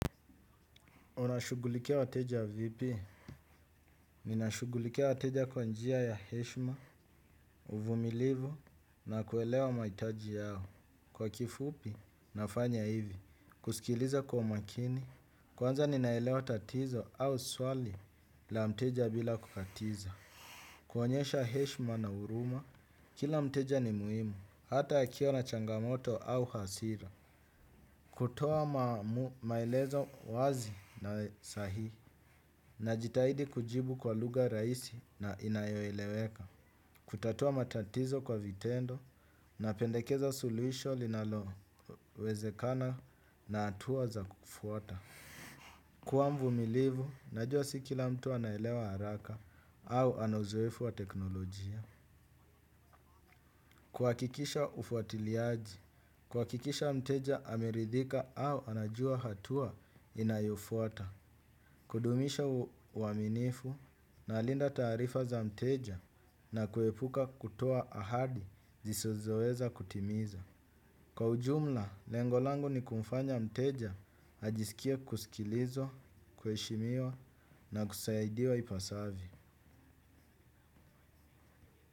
Unashughulikia wateja vipi? Nina shugulikia wateja kwa njia ya heshima, uvumilivu na kuelewa mahitaji yao. Kwa kifupi, nafanya hivi. Kusikiliza kwa makini, kwanza ninaelewa tatizo au swali la mteja bila kukatiza. Kuonyesha heshima na huruma, kila mteja ni muhimu, hata akiwa na changamoto au hasira. Kutoa maelezo wazi na sahihi. Najitahidi kujibu kwa lugha rahisi na inayo eleweka. Kutatua matatizo kwa vitendo na pendekeza suluisho linalowezekana na hatua za kukufuata. Kua mvumilivu, najua si kila mtu anaelewa haraka au ana uzoefu wa teknolojia. Kuhakikisha ufuatiliaji, kuhakikisha mteja ameridhika au anajua hatua inayofuata. Kudumisha uaminifu na linda taarifa za mteja na kuepuka kutoa ahadi zisizoweza kutimiza. Kwa ujumla, lengo langu ni kumfanya mteja, ajisikie kusikilizwa, kuheshimiwa na kusaidiwa ipasavyo.